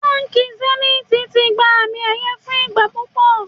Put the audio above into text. Báńkì sẹ́níìtì ti gba àmì ẹ̀yẹ fún ìgbà púpọ̀.